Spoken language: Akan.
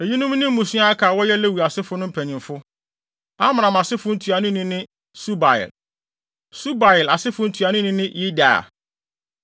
Eyinom ne mmusua a aka a wɔyɛ Lewi asefo no mpanyimfo: Amram asefo ntuanoni ne Subael. Subael asefo ntuanoni ne Yehdeia.